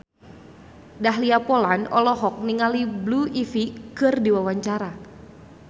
Dahlia Poland olohok ningali Blue Ivy keur diwawancara